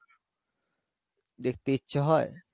দেখতে ইচ্ছে হয়